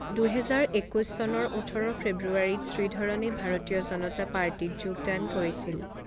দুহেজাৰ একৈছ চনৰ ওঠৰ ফেব্ৰুৱাৰীত শ্ৰীধৰণে ভাৰতীয় জনতা পাৰ্টিত যোগদান কৰিছিল।